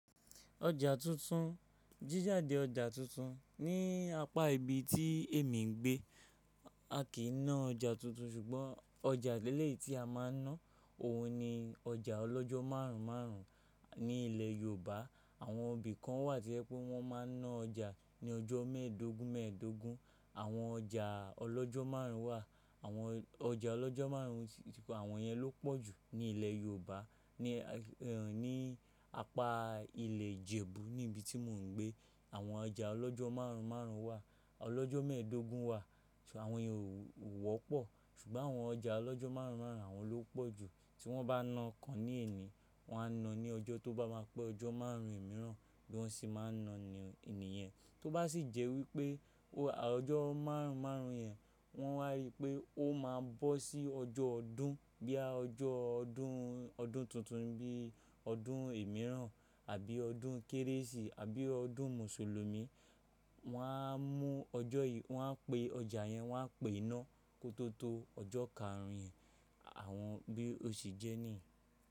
Ọjà tuntun, jíjàde ọjà tuntun. Ni apá ibi tí èmi ń gbé, a kìí ná ọjà tuntun ṣùgbọ́n ọjà eleyii tí a máa ń ná, òun ni ọjà ọlọ́jọ́ márùn-ún márùn-ún. Ni ilẹ̀ Yorùbá, àwọn ibí kan wà to je pé wọ́n máa ń ná ọjà ní ọjọ́ mẹ́ẹ̀dógún mẹ́ẹ̀dógún. Àwọn ọjà ọlọ́jọ́ márùn-ún wà, àwọn ọjà ọlọ́jọ́ márùn-ún, àwọn yẹn ló pọ̀ jù ni ilẹ̀ Yorùbá. Ni, ẹ́ hìn, ní apá ilẹ̀ Ìjẹ̀bú níbi tí mò ń gbé, àwọn ọjà ọlọ́jọ́ márùn-ún márùn-ún wà. Ọlọ́jọ́ mẹ́ẹ̀dógún wà, ṣùgbọ́n àwọn yẹn ò wọ́pọ̀. Ṣùgbọ́n àwọn ọjà ọlọ́jọ́ márùn-ún márùn-ún, àwọn ló pọ̀ jù. Tí wọ́n bá na ọ̀kan ní èní, wọ́n á na ní ọjọ́ tó bá máa pé ọjọ́ márùn-ún míìràn. Bi wọ́n se máa ń na ni nìyẹn. Tó bá sì jẹ́ wípé o ọjọ́ márùn-ún márùn-ún yẹn, wọ́n wá rí i pé ó máa bọ́ sí ọjọ́ ọdún bí i ọjọ́ ọdún, ọdún tuntun bí i ọdún ẹ̀míràn àbí ọdún Kérésì àbí ọdún Mùsùlùmí, wọ́n á mú ọjọ́ yìí, wọ́n á pe ọjà yẹn, wọ́n á pè é ná kó tó tó ọjọ́ karùn-ún yẹn àwọn bí ó sì jẹ́ ní.